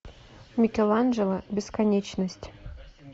микеланджело бесконечность